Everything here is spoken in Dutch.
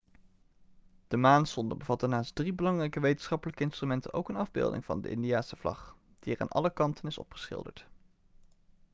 de maansonde bevatte naast drie belangrijke wetenschappelijke instrumenten ook een afbeelding van de indiase vlag die er aan alle kanten is opgeschilderd